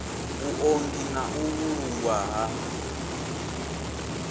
vhuunḓi na u vhulungwa ha